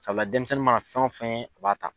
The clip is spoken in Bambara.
denmisɛnnin mana fɛn o fɛn ye u b'a ta.